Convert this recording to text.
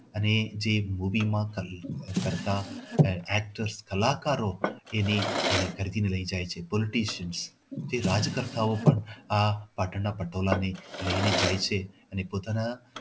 અને જે માં કરતા કરતા જે કલાકારો એને એને ખરીદી ને લઇ જાય છે. તે રાજકર્તાઓપણ આ પાટણના પટોળા પણ લઈને જાય છે અને પોતાના